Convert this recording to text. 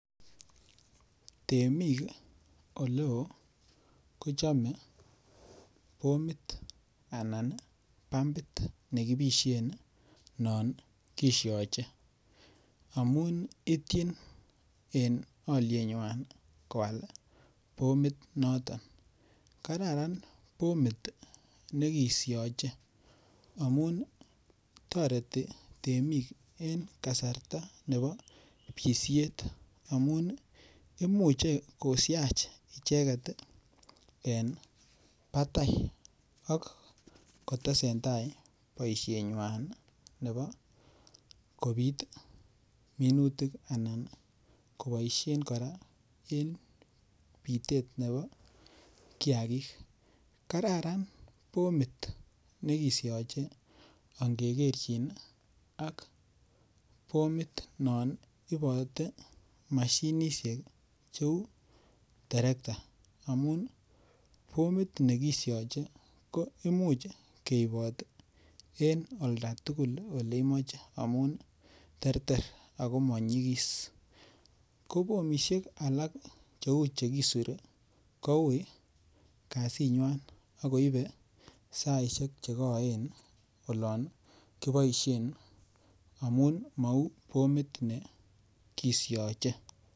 Temik ole oo kochomei bomit anan bambit nekipishen non kishojen amun itchin en olienywai koal bomit noton kararan bomit nekishojein amun toreti temik eng' kasarta nebo pishet amu imuchei koshach icheget en batai ak kotesentai boishenywai nebo kopit minutik anan koboishen kora en pitet nebo kiyakik kararan bomit nikishoje angegerchin ak bomit non iboten mashinishek cheu terekta amun bomit nekishjei ko imuch keibot en olda tugul ale imoche amun terter ako manyikis ko bomishek alak cheu chekisir koui kasing'wai akoibe saishek chekoen olon koboishen amu mau bomit nekishioje